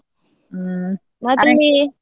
ಹ್ಮ್.